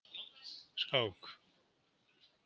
Skák